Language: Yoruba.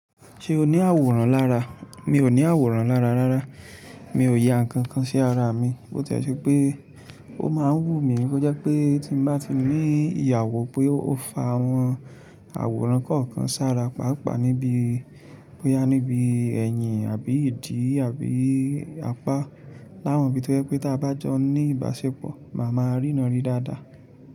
Ṣé o ní àwòrán lára? Mi ò ní àwòrán lára rárá, mi ò ya nǹkan kan sí ara mi, bó tì ẹ́ ṣe pé ó máa ń wù mí kó jẹ́ pé tí mo bá ti rí ìyàwó pé ó fa àwọn àwòrán kọ̀ọ̀kan sára, pàápàá níbí bóyá níbi ẹ̀yìn àbí ìdí àbí apá, láwọn ibi tó jẹ́ pé tí a bá jọ ní ìbáṣepọ̀, màá ma rí ná rí dáadáa.